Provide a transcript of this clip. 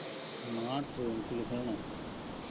ਨਾ train ਚ ਕਿਥੇ ਹੋਣਾ।